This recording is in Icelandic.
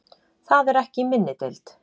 Það er ekki í minni deild.